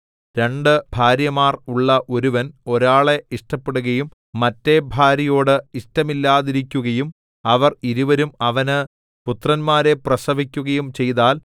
രണ്ടു ഭാര്യമാർ ഉള്ള ഒരുവൻ ഒരാളെ ഇഷ്ടപ്പെടുകയും മറ്റെ ഭാര്യയോട് ഇഷ്ടമില്ലാതിരിക്കുകയും അവർ ഇരുവരും അവന് പുത്രന്മാരെ പ്രസവിക്കുകയും ചെയ്താൽ